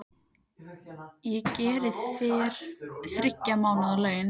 Ég greiði þér þriggja mánaða laun.